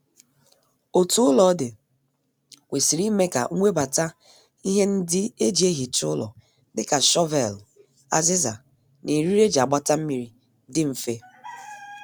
Otu ụlọ dị kwesịrị ime ka nwebata ihe ndi e ji ehicha ụlọ dịka shọvelụ, aziza, na eriri e ji agbabata mmiri dị mfe